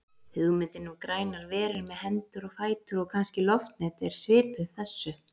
Hugmyndin um grænar verur með hendur og fætur og kannski loftnet er svipuð þessu.